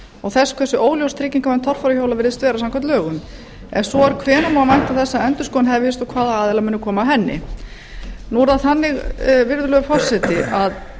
og þess hversu óljós tryggingavernd torfæruhjóla virðist vera samkvæmt lögum ef svo er hvenær má vænta þess að endurskoðun hefjist og hvað aðilar munu koma að henni nú er þannig virðulegur forseti að